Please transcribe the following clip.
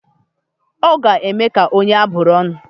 Ọ ga-eme ka onye abụrụ ọnụ?